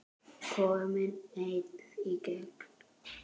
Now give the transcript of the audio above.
Kominn einn í gegn?